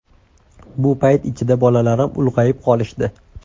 Bu payt ichida bolalarim ulg‘ayib qolishdi.